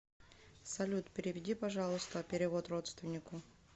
салют переведи пожалуйста перевод родственнику